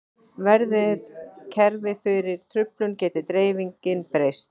Verði kerfið fyrir truflun getur dreifingin breyst.